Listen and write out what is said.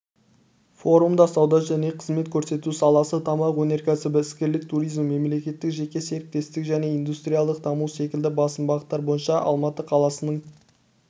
форумда сауда және қызмет көрсету саласы тамақ өнеркәсібі іскерлік туризм мемлекеттік-жеке серіктестік және индустриялдық даму секілді басым бағыттар бойынша алматы қаласының